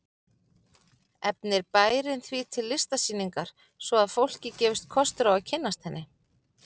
Efnir bærinn því til listsýningar svo að fólki gefist kostur á að kynnast henni.